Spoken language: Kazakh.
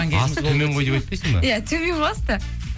асты төмен ғой деп айтпайсың ба иә төмен ғой асты